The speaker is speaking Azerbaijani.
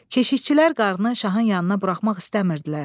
Keşikçilər qarınını şahın yanına buraxmaq istəmirdilər.